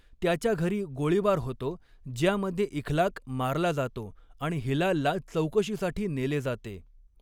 त्याच्या घरी गोळीबार होतो, ज्यामध्ये इखलाक मारला जातो आणि हिलालला चौकशीसाठी नेले जाते.